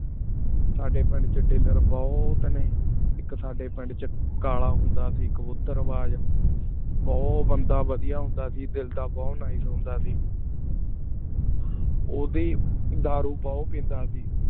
ਸਾਡੀ ਕਰ ਚ dealer ਬੋਹਤ ਨੀ ਇਕ ਸਾਡੀ ਪਿੰਡ ਚ ਕਲਾ ਹੁੰਦਾ ਸੇ ਕਾਬੂਟਰ ਬਾਜ਼ ਬੋ ਬੰਦਾ ਹੁੰਦਾ ਸੇ ਦਿਲ ਦਾ ਬੋਹਤ nice ਹੁੰਦਾ ਸੇ ਓੜੀ ਦਾਰੂ ਬੋਹਤ ਪੀਂਦਾ ਸੇ